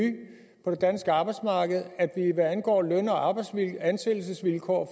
på det danske arbejdsmarked at hvad angår løn og ansættelsesvilkår